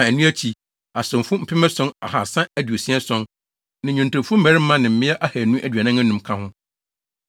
a ɛno akyi, asomfo mpem ason ahaasa aduasa ason (7,337) ne nnwontofo mmarima ne mmea ahannu aduanan anum (245) ka ho.